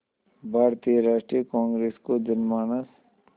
भारतीय राष्ट्रीय कांग्रेस को जनमानस